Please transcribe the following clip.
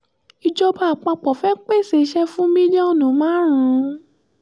ìjọba àpapọ̀ fẹ́ẹ́ pèsè iṣẹ́ fún mílíọ̀nù márùn